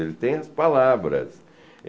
Ele tem as palavras.